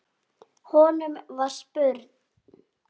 Honum var spurn.